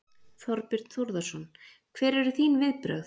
Þorbjörn Þórðarson: Hver eru þín viðbrögð?